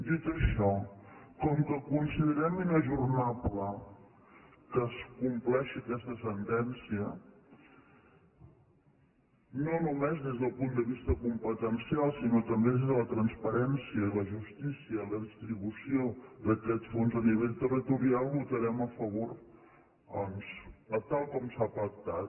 dit això com que considerem inajornable que es com·pleixi aquesta sentència no només des del punt de vis·ta competencial sinó també des de la transparència i la justícia i la distribució d’aquest fons a nivell territorial hi votarem a favor tal com s’ha pactat